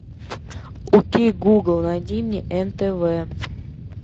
окей гугл найди мне нтв